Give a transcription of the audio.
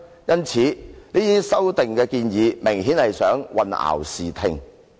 因此，這項修訂明顯地有意混淆視聽。